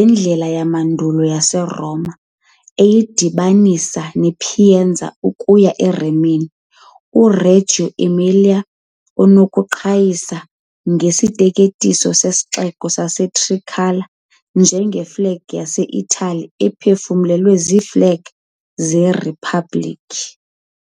indlela yamandulo yaseRoma eyayidibanisa iPiacenza ukuya eRimini, uReggio Emilia unokuqhayisa isiteketiso seSixeko saseTricolore, njengeflegi yaseItali, ephefumlelwe iiflegi zeRiphabhlikhi .